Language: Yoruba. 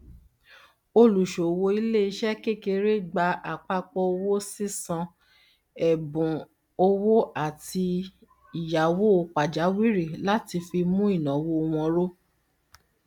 olùṣòwò iléiṣẹ kékeré gba àpapọ owó sísan ẹbùn owó àti ìyáwó pajawìrì láti fi mú ináwó wọn ró